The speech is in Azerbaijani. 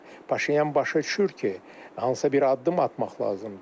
Və Paşinyan başa düşür ki, hansısa bir addım atmaq lazımdır.